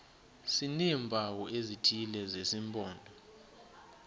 sineempawu ezithile zesimpondo